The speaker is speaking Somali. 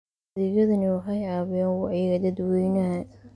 Adeegyadani waxay caawiyaan wacyiga dadweynaha.